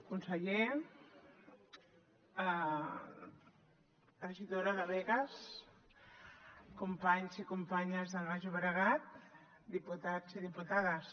conseller regidora de begues companys i companyes del baix llobregat diputats i diputades